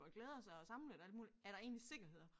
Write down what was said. Og glæder sig og er samlet og alt muligt er der egentlig sikkerhed her